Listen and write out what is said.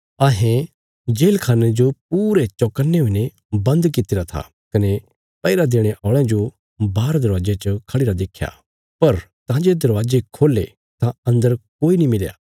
अहें जेलखान्ने जो पूरे चौकन्ने हुईने बन्द कित्तिरा था कने पैहरा देणे औल़यां जो बाहर दरवाजे च खढ़िरा देख्या पर तां जे दरवाजे खोल्हे तां अन्दर कोई नीं मिलया